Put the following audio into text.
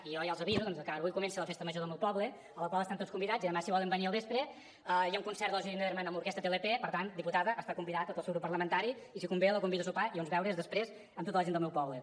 i jo ja els aviso que avui comença la festa major del meu poble a la qual estan tots convidats i demà si volen venir al vespre hi ha un concert de la judit neddermann amb l’orquestra tlp per tant diputada està convidat tot el seu grup parlamentari i si convé la convido a sopar i a uns beures després amb tota la gent del meu poble